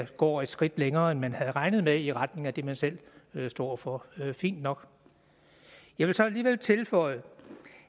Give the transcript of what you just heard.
går et skridt længere end man havde regnet med i retning af det man selv står for fint nok jeg vil så alligevel tilføje